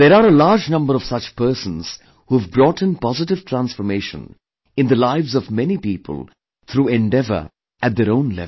There are a large number of such persons who have brought in positive transformation in the lives of many people through endeavour at their own level